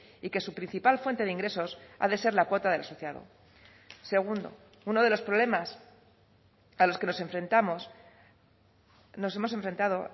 y que su principal fuente de ingresos ha de ser la cuota del asociado segundo uno de los problemas a los que nos enfrentamos nos hemos enfrentado